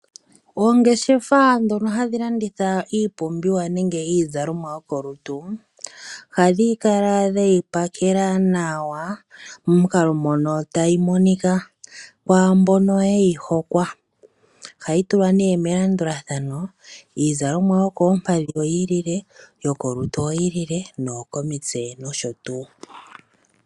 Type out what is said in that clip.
Oongeshefa ndhono hadhi landitha iipumbiwa nenge iizalomwa yo kolutu, ohadhi kala dheyi pakela nawa, momukalo mono tayi monika kwaambono yeyi hokwa. Ohayi tulwa nee melandulathano, iizalomwa yokoompadhi oyi ilile, yokolutu oyi ilile, noyo komitse nosho tuu.